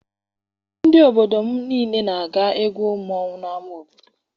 Ndị obodo niile na-aga egwu mmanwụ n'ama obodo.